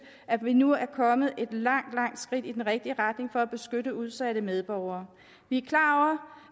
at vi nu er kommet et langt langt skridt i den rigtige retning for at beskytte udsatte medborgere vi